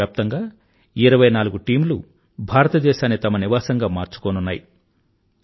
ప్రపంచవ్యాప్తంగా ఇరవై నాలుగు టీమ్ లు భారతదేశాన్ని తమ నివాసంగా మార్చుకోనున్నాయి